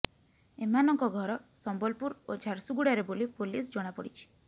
ଏମାନଙ୍କ ଘର ସମ୍ବଲପୁର ଓ ଝାରସୁଗୁଡାରେ ବୋଲି ପୋଲିସ ଜଣାପଡିଛି